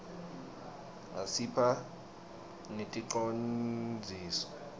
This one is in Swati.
asiphhq neticondziso